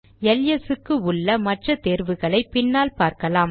LS க்கு உள்ள மற்ற தேர்வுகளை பின்னால் பார்க்கலாம்